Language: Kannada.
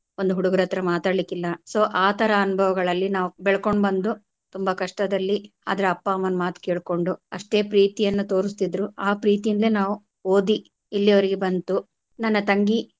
ಒಂದು ಹುಡುಗ್ರ ಹತ್ರ ಮಾತಾಡ್ಲಿಕ್ ಇಲ್ಲ so ಆ ತರಾ ಅನುಭವಗಳಲ್ಲಿ ನಾವು ಬೆಳ್ಕೊಂಡು ಬಂದು ತುಂಬಾ ಕಷ್ಟದಲ್ಲಿ ಆದ್ರೆ ಅಪ್ಪ ಅಮ್ಮನ್ ಮಾತ್ ಕೆಳ್ಕೊಂಡು ಅಷ್ಟೇ ಪ್ರೀತಿಯನ್ನ ತೋರ್ಸ್ತಿದ್ರು ಆ ಪ್ರೀತಿಯಿಂದ್ಲೇ ನಾವು ಓದಿ ಇಲ್ಲಿವರೆಗೆ ಬಂತು ನನ್ನ ತಂಗಿ.